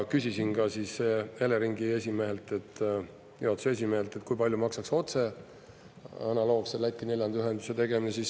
Küsisin ka Eleringi juhatuse esimehelt, kui palju maksaks otse analoogse Läti neljanda ühenduse tegemine.